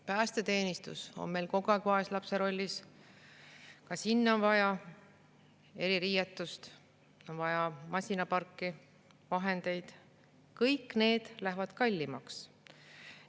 Päästeteenistus on meil kogu aeg vaeslapse rollis, ka sinna on vaja eririietust, on vaja masinaparki, vahendeid – kõik see läheb kallimaks.